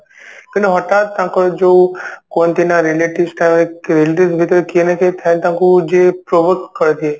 କିନ୍ତୁ ହଠାତ ତାଙ୍କର ଯୋଉ କୁହନ୍ତି ନା relatives ଟା ଭିତରେ କିଏ ନା କିଏ ଥାଏ ତାଙ୍କୁ ଯିଏ ପ୍ରୋବୋଧ କରିଦିଏ